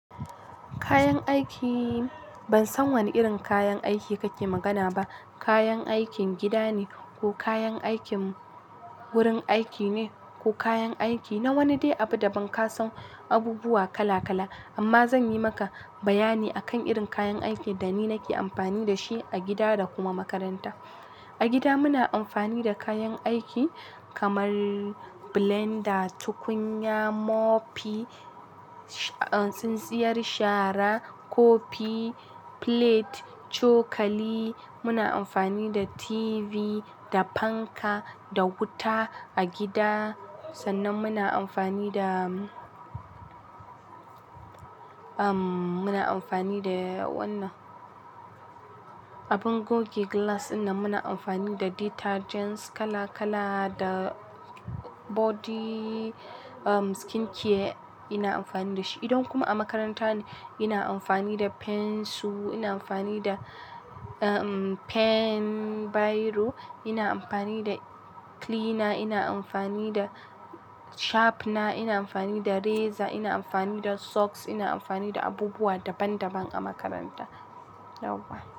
Kayan aiki, ban san wane irin kayan aiki kake magana ba. Kayan aikin gida ne ko kayan aikin wurin aiki ne ko kayan aiki na wani dai abu da ban ka san abubuwa kala kala. Amma zan yi maka bayani akan irin kayan aikin da ni nake amfani da shi a gida da kuma makaranta. A gida muna amfani da kayan aiki kamar blender, tukunya, mopy, tsintsiyar shara, kofi, plate, cokali. Muna amfani da TV, da fanka, da wuta a gida. Sannan muna amfani da, umm, muna amfani da wannan abin goge glass, inda muna amfani da detergents kala kala da body, umm, skin care ina amfani da shi. Idan kuma a makaranta ne, ina amfani da pensu, ina amfani da, umm, pen biro, ina amfani da cleaner, ina amfani da sharpener, ina amfani da razor, ina amfani da socks, ina amfani da abubuwa daban daban a makaranta. Yauwa.